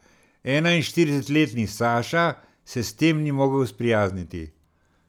Enainštiridesetletni Saša se s tem ni mogel sprijazniti.